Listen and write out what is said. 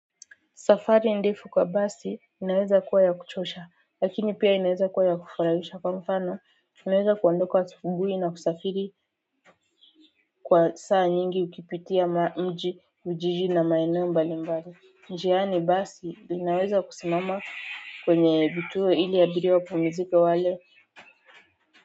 Safari ndefu kwa basi inaweza kuwa ya kuchosha lakini pia inaweza kuwa ya kufurahisha kwa mfano inaweza kuandoka asubuhi na kusafiri kwa saa nyingi ukipitia ma mji mji na maeneo mbalimbali njiani basi inaweza kusimama kwenye vituo ili abiria wapumzike wale.